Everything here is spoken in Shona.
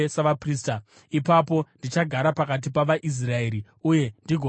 Ipapo ndichagara pakati pavaIsraeri uye ndigova Mwari wavo.